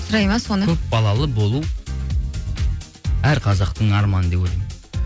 сұрайды ма соны көп балалы болу әр қазақтың арманы деп ойлаймын